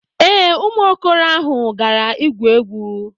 Ee, ụmụ okoro ahụ gara igwu egwu